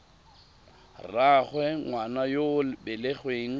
rraagwe ngwana yo o belegweng